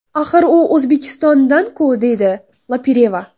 Axir u O‘zbekistondan-ku”, deydi Lopireva.